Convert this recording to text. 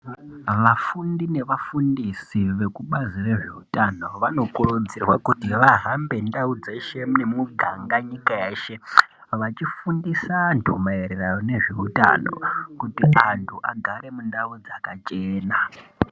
Vafundi nevafundisi vekubazi rezveutano vanokurudzirwa kuti vahambe ndau dzeshe nemuganga nyika yeshe vachifundisa antu maererano nezveutano kuti antu agare mundau dzakachena.